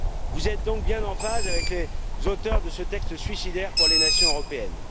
Vous êtes donc bien en phase avec les auteurs de ce texte suicidaire pour les nations européennes.